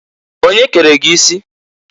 Onye kere gi isi?"